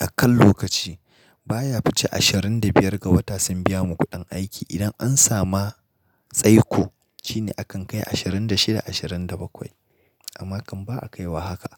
a kan lokaci. Ba ya wuce ashirin da biyar ga wata sun biya mu kuɗin aiki idan an samu tsaiko shine akan kai ashirin da shida, ashirin da bakwai amma kam ba a kaiwa haka.